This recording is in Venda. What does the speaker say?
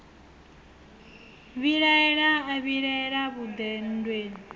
vhilaela a vhilaela vhuḓe nndweleni